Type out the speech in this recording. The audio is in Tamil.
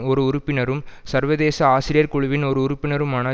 ஒரு உறுப்பினரும் சர்வதேச ஆசிரியர் குழுவின் ஒரு உறுப்பினருமான